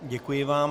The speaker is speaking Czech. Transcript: Děkuji vám.